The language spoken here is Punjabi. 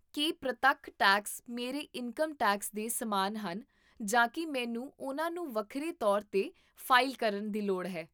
ਕੀ ਪ੍ਰਤੱਖ ਟੈਕਸ ਮੇਰੇ ਇਨਕਮ ਟੈਕਸ ਦੇ ਸਮਾਨ ਹਨ ਜਾਂ ਕੀ ਮੈਨੂੰ ਉਹਨਾਂ ਨੂੰ ਵੱਖਰੇ ਤੌਰ 'ਤੇ ਫ਼ਾਈਲ ਕਰਨ ਦੀ ਲੋੜ ਹੈ?